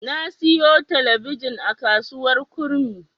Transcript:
Na siyo talabijin a kasuwar Kurmi.